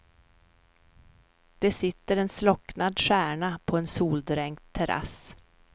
Det sitter en slocknad stjärna på en soldränkt terrass.